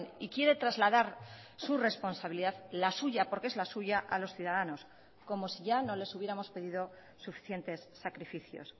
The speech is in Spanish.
y quiere trasladar su responsabilidad la suya porque es la suya a los ciudadanos como si ya no les hubiéramos pedido suficientes sacrificios